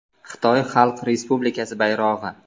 Xitoy Xalq Respublikasi bayrog‘i.